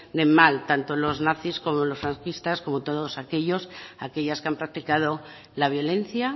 del mal tanto los nacis como los franquistas como todos aquellos y aquellas que han practicado la violencia